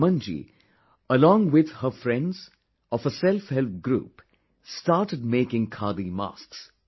Suman ji , alongwith her friends of a self help group started making Khadi masks